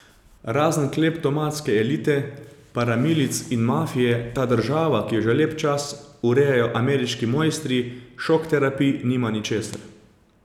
Razen kleptomanske elite, paramilic in mafije ta država, ki jo že lep čas urejajo ameriški mojstri šokterapij, nima ničesar.